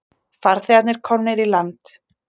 Farþegarnir komnir í land